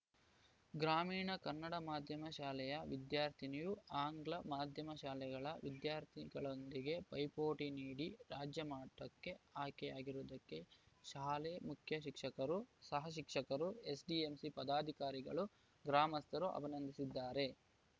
ಗ್ರಾಮೀಣ ಕನ್ನಡ ಮಾಧ್ಯಮ ಶಾಲೆಯ ವಿದ್ಯಾರ್ಥಿನಿಯು ಆಂಗ್ಲ ಮಾಧ್ಯಮ ಶಾಲೆಗಳ ವಿದ್ಯಾರ್ಥಿಗಳೊಂದಿಗೆ ಪೈಪೋಟಿ ನೀಡಿ ರಾಜ್ಯಮಟ್ಟಕ್ಕೆ ಆಯ್ಕೆಯಾಗಿರುವುದಕ್ಕೆ ಶಾಲೆ ಮುಖ್ಯ ಶಿಕ್ಷಕರು ಸಹಶಿಕ್ಷಕರು ಎಸ್‌ಡಿಎಂಸಿ ಪದಾಧಿಕಾರಿಗಳು ಗ್ರಾಮಸ್ಥರು ಅಭಿನಂದಿಸಿದ್ದಾರೆ